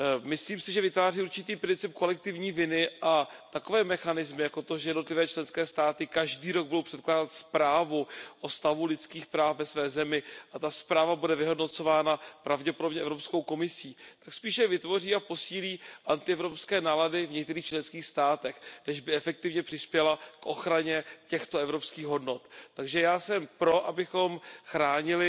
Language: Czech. Myslím si, že vytváří určitý princip kolektivní viny a takové mechanismy jako to, že jednotlivé členské státy budou každý rok předkládat zprávu o stavu lidských práv ve své zemi a ta zpráva bude vyhodnocována pravděpodobně Evropskou komisí, spíše vytvoří a posílí antievropské nálady v některých členských státech, než aby efektivně přispěly k ochraně těchto evropských hodnot. Takže já jsem pro, abychom chránili